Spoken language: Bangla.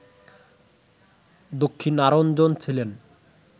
দক্ষিণারঞ্জন ছিলেন